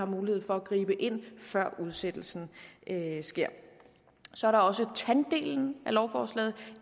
mulighed for at gribe ind før udsættelsen sker så er der også tanddelen af lovforslag